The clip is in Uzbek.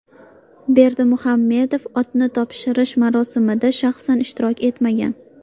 Berdimuhammedov otni topshirish marosimida shaxsan ishtirok etmagan.